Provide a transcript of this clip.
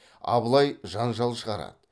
абылай жанжал шығарады